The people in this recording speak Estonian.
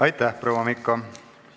Aitäh, proua Mikko!